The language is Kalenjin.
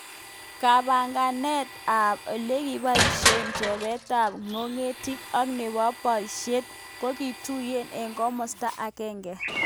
kibagengeit ab olekiboishe chobet ab ngokenik ak nebo kaborjibet kokituyokei eng komasta akenge